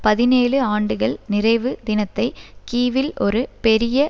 பதினேழு ஆண்டுகள் நிறைவு தினத்தை கீவில் ஒரு பெரிய